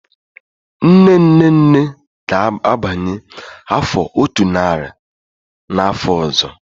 Nne-nne-nne ga-agbanye afọ otu nari n'afọ ọzọ.